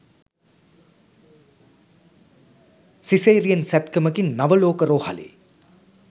caesarean සැත්කමකින් නවලෝක රෝහලේ